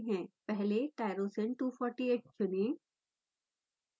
पहले tryrosine 248 चुनें